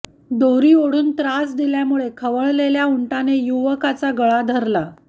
दोरी ओढून त्रास दिल्यामुळे खवळलेल्या उंटाने युवकाचा गळा धरला